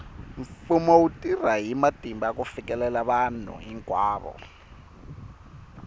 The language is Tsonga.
mfumo wu tirha hi matimba ku fikelela vanhu hinkwavo